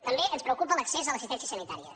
també ens preocupa l’accés a l’assistència sanitària